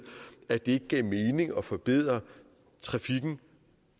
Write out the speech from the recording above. at det ikke gav mening at forbedre trafikken